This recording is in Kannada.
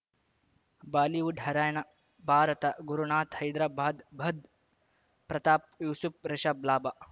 ಬಾಲಿವುಡ್ ಹೈರಾಣ ಭಾರತ ಗುರುನಾಥ ಹೈದರಾಬಾದ್ ಭಧ್ ಪ್ರತಾಪ್ ಯೂಸುಪ್ ರಿಷಬ್ ಲಾಭ